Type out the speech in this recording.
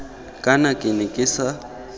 kana ke ne ke sa